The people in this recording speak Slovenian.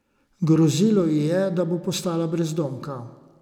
Grozilo ji je, da bo postala brezdomka.